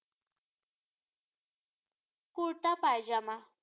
kurta pyjama